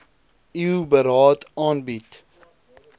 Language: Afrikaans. eu beraad aanbied